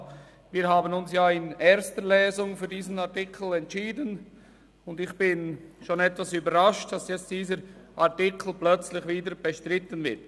: Wir haben uns in der ersten Lesung für diesen Artikel entschieden, und ich bin schon etwas überrascht, dass dieser Artikel jetzt plötzlich wieder bestritten wird.